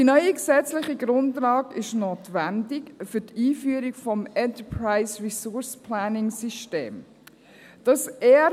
Die neue gesetzliche Grundlage ist für die Einführung des Enterprise-Resource-Planning(ERP)-System notwendig.